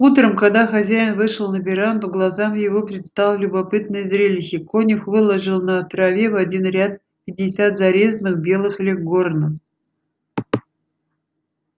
утром когда хозяин вышел на веранду глазам его предстало любопытное зрелище конюх выложил на траве в один ряд пятьдесят зарезанных белых леггорнов